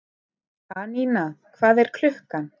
Anína, hvað er klukkan?